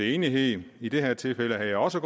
enighed i det her tilfælde havde jeg også